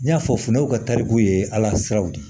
N y'a fɔ funtenaw ka taariku ye ala siraw de ye